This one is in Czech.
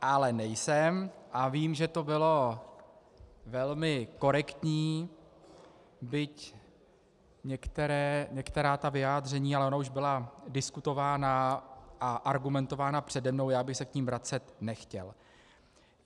Ale nejsem a vím, že to bylo velmi korektní, byť některá ta vyjádření - ale ona už byla diskutována a argumentována přede mnou, já bych se k nim vracet nechtěl.